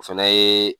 O fɛnɛ ye